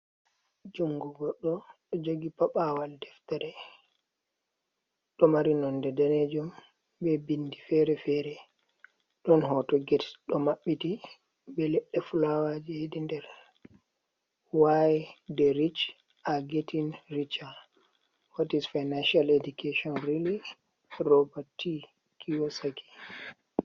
Jungu gorɗo ɗo jogi paɓawal deftere, ɗo mari nonde danejum be bindi fere-fere, ɗon hoto get ɗo maɓɓiti be leɗɗe fulawa je hedi nder, wai de rich agetin richar, wat is fainashiyal edikashon reli. Robert T Kiyosaki.